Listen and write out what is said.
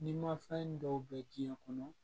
Ni ma fɛn dɔw bɛ diɲɛ kɔnɔ